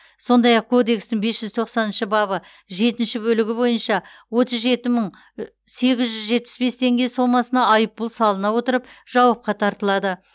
сондай ақ кодекстің бес жүз тоқсаныншы бабы жетінші бөлігі бойынша отыз жеті мың сегіз жүз жетпіс бес теңге сомасына айыппұл салына отырып жауапқа тартылады